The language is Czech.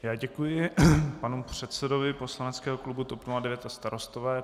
Já děkuji panu předsedovi poslaneckého klubu TOP 09 a Starostové.